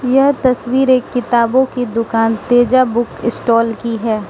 यह तस्वीर एक किताबों की दुकान तेजा बुक स्टॉल की है।